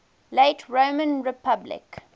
late roman republic